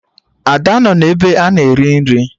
Ada nọ n'ebe a na-eri nri